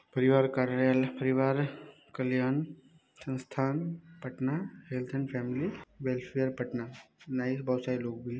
परिवार कार्यालय परिवार कल्याण संस्थान Patna health and family welfare Patna new बहुत सारे लोग भी --